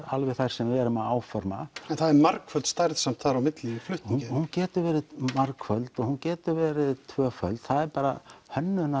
alveg þar sem við erum að áforma en það er margföld stærð þar á milli í flutningi hún getur verið margföld og hún getur verið tvöföld það er bara